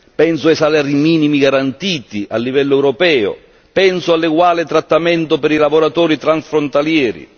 Penso ai salari minimi garantiti a livello europeo, penso all'eguale trattamento per i lavoratori transfrontalieri.